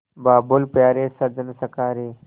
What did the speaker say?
बाबुल प्यारे सजन सखा रे